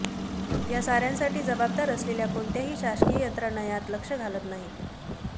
या साऱयासाठी जबाबदार असलेल्या कोणत्याही शासकीय यंत्रणा यात लक्ष घालत नाहीत